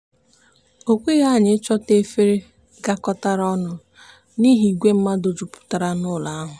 okweghị anyị i chọta efere gakọtara ọnụ n'ihi ìgwè mmadụ juputara n'ụlọ ahụ.